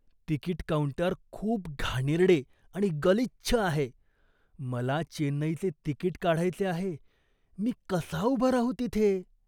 Ticket counter खूप घाणेरडे आणि गलिच्छ आहे. मला चेन्नईचे तिकीट काढायचे आहे, मी कसा उभा राहू तिथे?